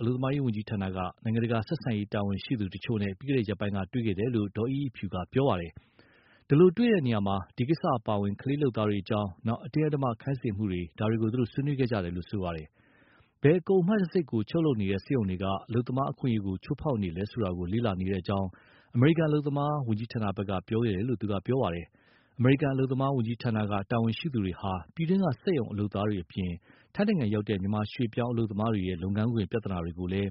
အလုပ်သမားဝန်ကြီးဌာနက နိုင်ငံတကာဆက်ဆံရေး တာဝန်ရှိသူတွေနဲ့ ပြီးခဲ့တဲ့ရက်ပိုင်းက တွေ့ဆုံခဲ့တယ်လို့ ဒေါ်အိအိဖြူကပြောပါတယ်။ အဲဒီလိုတွေ့တာမှာ ဒီကိစ္စတွေအပါအဝင် ကလေးလုပ်သားတွေအကြောင်း၊ အတင်းအဓမ္မ ခိုင်းစေမှုတွေ ဒါတွေကို သူတို့ ဆွေးနွေးခဲ့ကြတာပါ။ ဘယ်ကုန်အမှတ်တံဆိပ်ကို ချုပ်လုပ်နေတဲ့ စက်ရုံတွေက အလုပ်သမား အခွင့်အရေးကို ချိုးဖောက်နေလဲ ဆိုတာ လေ့လာနေတဲ့အကြောင်း အမေရိကန် အလုပ်သမား ဝန်ကြီးဌာနဘက်က ပြောခဲ့တယ်လို့ သူကပြောပါတယ်။ အမေရိကန် အလုပ်သမားဝန်ကြီးဌာနက တာဝန်ရှိသူတွေဟာ ပြည်တွင်းက စက်ရုံ အလုပ်သားတွေအပြင် ထိုင်းရောက် မြန်မာရွေ့ပြောင်း အလုပ်သမားတွေရဲ့ လုပ်ငန်းခွင် ပြဿနာတွေ ကိုလည်း